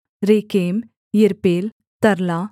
Rekem Irpeel Tarla